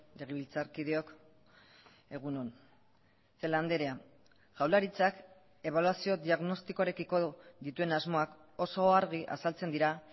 legebiltzarkideok egun on celaá andrea jaurlaritzak ebaluazio diagnostikoarekiko dituen asmoak oso argi azaltzen dira